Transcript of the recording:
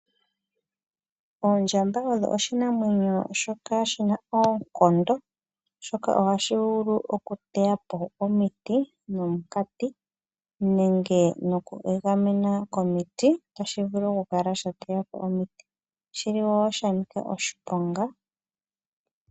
Ondjamba osho oshinamwenyo shoka shina oonkondo. Oshoka ohashi vulu okuteya po omiti nomunkati nenge noku egamena komiti otashi vulu okukala sha teya po omiti, oshili wo shanika oshiponga.